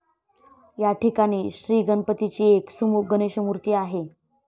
याठिकाणी श्रीगणपतीची एक 'सुमुख गणेशमूर्ती' आहे.